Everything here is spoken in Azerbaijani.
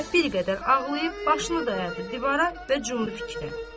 Zeynəb bir qədər ağlayıb başını dayadı divara və cumdu fikrə.